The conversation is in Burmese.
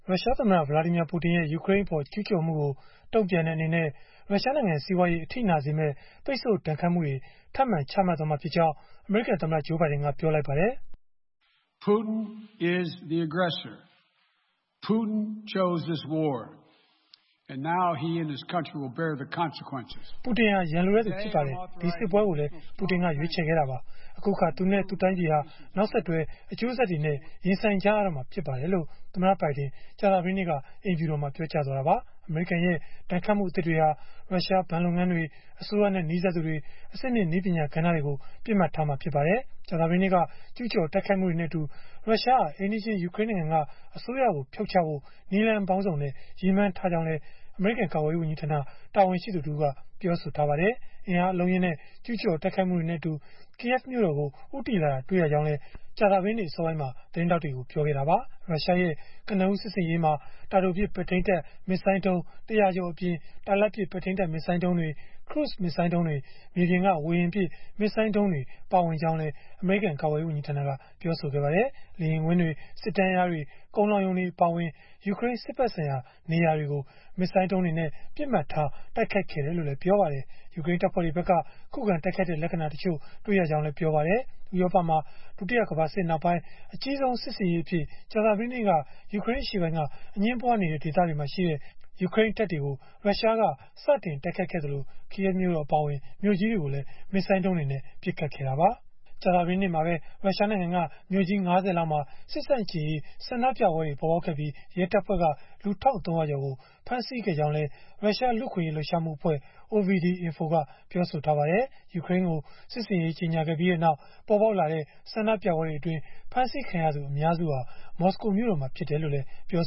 ရုရှားသမ္မတ Vladimir Putin ရဲ့ ယူကရိန်းအပေါ် ကျုးကျော်မှုကို တုံ့ပြန်တဲ့အနေနဲ့ ရုရှားနိုင်ငံ စီးပွားရေး အထိနာစေမယ့် ပိတ်ဆို့ဒဏ်ခတ်မှုတွေ ထပ်မံချမှတ်သွားမှာဖြစ်ကြောင်း အမေရိကန်သမ္မတ Joe Biden က ပြောလိုက်ပါတယ်။ “ပူတင်ဟာ ရန်လိုတဲ့သူ ဖြစ်ပါတယ်။ ဒီစစ်ပွဲကိုလည်း ပူတင်က ရွေးချယ်ခဲ့တာပါ၊ အခုအခါ သူနဲ့ သူ့တိုင်းပြည်ဟာ နောက်ဆက်တွဲ အကျိုးဆက်တွေနဲ့ ရင်ဆိုင်ကြရတော့မှာ ဖြစ်ပါတယ်။” လို့ သမ္မတဘိုင်ဒင် ကြာသတေးနေ့က အိမ်ဖြူတော်မှာ ပြောကြားသွားတာပါ။ အမေရိကန်ရဲ့ ဒဏ်ခတ်မှုအသစ်တွေဟာ ရုရှားဘဏ်လုပ်ငန်းတွေ၊ အစိုးရနဲ့နီးစပ်သူတွေ အဆင့်မြင့်နည်းပညာ ကဏ္ဍတွေကို ပစ်မှတ်ထားမှာ ဖြစ်ပါတယ်။ ကြာသပတေးနေ့က ကျုးကျော်တိုက်ခိုက်မှုတွေနဲ့အတူ ရုရှားဟာ အိမ်နီးချင်း ယူကရိန်းနိုင်ငံက အစိုးရကို ဖြုတ်ချဖို့ နည်းလမ်းပေါင်းစုံနဲ့ ရည်မှန်းထားကြောင်းလည်း အမေရိကန် ကာကွယ်ရေးဝန်ကြီးဌာန တာဝန်ရှိသူတဦးက ပြောဆိုထားပါတယ်။ အင်အားအလုံးအရင်းနဲ့ ကျုးကျော်တိုက်ခိုက်မှုတွေနဲ့အတူ Kyiv မြို့တော်ကို ဦးတည်လာတာတွေ့ရကြောင်းလည်း ကြာသပတေးနေ့ အစောပိုင်းမှာ သတင်းထောက်တွေကို ပြောခဲ့တာပါ။ ရုရှားရဲ့ ကနဦးစစ်ဆင်ရေးမှာ တာတိုပစ် ပဲ့ထိန်းတပ် မစ်ဇိုင်းဒုံး ၁၀၀ ကျော်အပြင်၊ တာလတ်ပစ် ပဲ့ထိန်းတပ်မစ်ဇိုင်းဒုံးတွေ၊ ခရုဇ်မစ်ဇိုင်းဒုံးတွေ၊ မြေပြင်က ဝေဟင်ပစ် မစ်ဇိုင်းဒုံးတွေ ပါဝင်ကြောင်းလည်း ပြောပါတယ်။ လေယာဉ်ကွင်းတွေ၊ စစ်တန်းလျားတွေ၊ ကုန်လှောင်ရုံတွေ အပါအဝင် ယူကရိန်း စစ်ဖက်ဆိုင်ရာ နေရာတွေကို မစ်ဇိုင်းဒုံးတွေနဲ့ ပစ်မှတ်ထား တိုက်ခိုက်ခဲ့တယ်လို့လည်း ပြောပါတယ်။ ယူကရိန်းတပ်ဖွဲ့တွေဖက်က ခုခံတိုက်ခိုက်တဲ့ လက္ခဏာတချို့ တွေ့ရကြောင်းလည်း ပြောပါတယ်။ ဥရောပမှာ ဒုတိယကမ္ဘာစစ်နောက်ပိုင်း အကြီးဆုံးစစ်ဆင်ရေးအဖြစ် ကြာသပတေးနေ့က ယူကရိန်းအရှေ့ပိုင်းက အငြင်းပွားဒေသတွေမှာရှိတဲ့ ယူကရိန်းတပ်တွေကို စတင်တိုက်ခိုက်ခဲ့သလို၊ Kyiv မြို့တော် အပါအဝင် မြို့ကြီးတွေကိုလည်း မစ်ဇိုင်းဒုံးတွေနဲ့ ပစ်ခတ်ခဲ့တာပါ။ ကြာသပတေးနေ့မှာပဲ ရုရှားနိုင်ငံက မြို့ကြီး ၅၀ လောက်မှာ စစ်ဆန့်ကျင်ရေး ဆန္ဒပြပွဲတွေပေါ်ပေါက်ခဲ့ပြီး ရဲတပ်ဖွဲ့က လူ ၁၃၀၀ ကျော်ကို ဖမ်းဆီးခဲ့ကြောင်းလည်း ရုရှားလူ့အခွင့်အရေး လှုပ်ရှားမှုအဖွဲ့ OVD-Info ကပြောပါတယ်။ ယူကရိန်းကို စစ်ဆင်ရေး ကြေညာခဲ့ပြီးနောက် ပေါ်ပေါက်ခဲ့တဲ့ ဆန္ဒပြပွဲတွေအတွင်း ဖမ်းဆီးခံရသူ အများစုဟာ မော်စကိုမြို့တော်မှာ ဖြစ်တယ်လို့လည်း ပြော